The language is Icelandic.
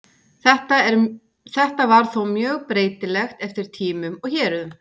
Þetta var þó mjög breytilegt eftir tímum og héruðum.